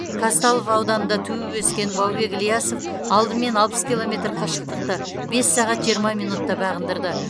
қазталов ауданында туып өскен баубек ілиясов алдымен алпыс километр қашықтықты бес сағат жиырма минутта бағындырды